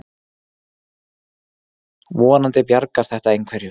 Vonandi bjargar þetta einhverju.